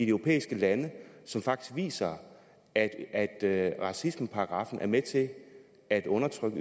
europæiske lande som faktisk viser at at racismeparagraffen er med til at undertrykke